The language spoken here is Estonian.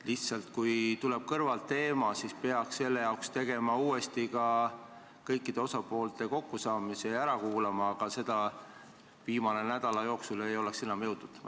Lihtsalt kui kõrvalt käiakse välja tähtis teema, siis peaks selle arutamiseks korraldama kõikide osapoolte kokkusaamise ja nad ära kuulama, aga seda viimase nädala jooksul ei oleks enam jõudnud.